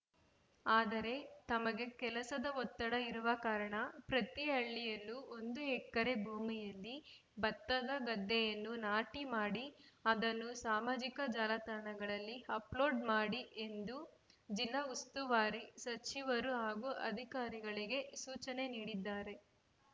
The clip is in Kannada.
ಆದರೆ ತಮಗೆ ಕೆಲಸದ ಒತ್ತಡ ಇರುವ ಕಾರಣ ಪ್ರತಿ ಹಳ್ಳಿಯಲ್ಲೂ ಒಂದು ಎಕರೆ ಭೂಮಿಯಲ್ಲಿ ಭತ್ತದ ಗದ್ದೆಯನ್ನು ನಾಟಿ ಮಾಡಿ ಅದನ್ನು ಸಾಮಾಜಿಕ ಜಾಲತಾಣಗಳಲ್ಲಿ ಅಪ್‌ಲೋಡ್‌ ಮಾಡಿ ಎಂದು ಜಿಲ್ಲಾ ಉಸ್ತುವಾರಿ ಸಚಿವರು ಹಾಗೂ ಅಧಿಕಾರಿಗಳಿಗೆ ಸೂಚನೆ ನೀಡಿದ್ದಾರೆ